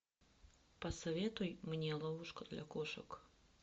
посоветуй мне ловушка для кошек